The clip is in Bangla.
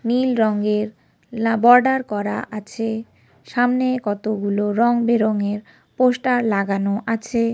নীল রং এর লা বর্ডার করা আছে। সামনে কতগুলো রং বেরঙের পোস্টার লাগানো আছে।